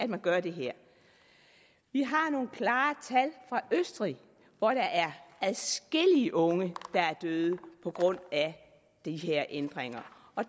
man gør det her vi har nogle klare tal fra østrig hvor der er adskillige unge der er døde på grund af de her ændringer